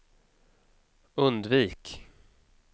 undvik